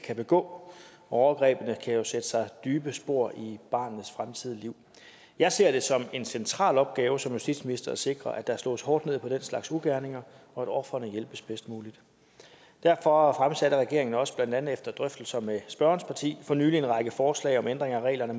kan begå overgrebene kan jo sætte sig dybe spor i barnets fremtidige liv jeg ser det som en central opgave som justitsminister at sikre at der slås hårdt ned på den slags ugerninger og at ofrene hjælpes bedst muligt derfor fremsatte regeringen også blandt andet efter drøftelser med spørgerens parti for nylig en række forslag om ændring af reglerne